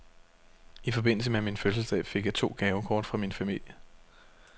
I forbindelse med min fødselsdag fik jeg to gavekort fra min familie.